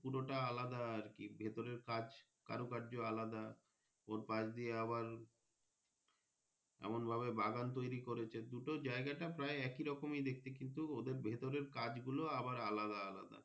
পুরোটা আলাদা আর কি ভেতরে জাজ কারো কায্য আলাদা ওর পাস্ দিয়ে আবার এমন ভাবে বাগান তৌরি করেছে দুটো জায়গাটা প্রায় একইরকম দেখতে কিন্তু ওদের ভেতরের কাজ গুলো আবার আলাদা আলাদা।